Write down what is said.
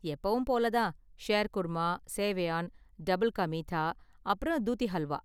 எப்பவும் போல தான், ஷேர்குர்மா, சேவையான், டபுள் கா மீத்தா, அப்புறம் தூதி ஹல்வா.